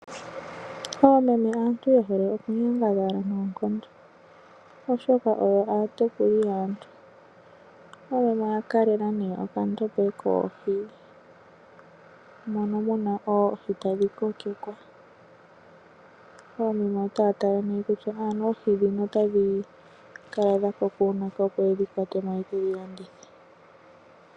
Oomeme aantu ye hole okunyangadhala noonkondo, oshoka oyo aatekuli yaantu. Oomeme oya kalela nee okandombe koohi mono muna oohi tadhi kokekwa. Oomeme otaya tala mee kutya ano oohi dhono otadhi kala dha koka uunake, yo ye dhi landithe.